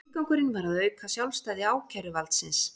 Tilgangurinn var að auka sjálfstæði ákæruvaldsins